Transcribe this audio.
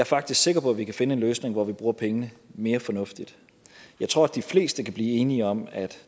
faktisk sikker på at vi kan finde en løsning hvor vi bruger pengene mere fornuftigt jeg tror de fleste kan blive enige om at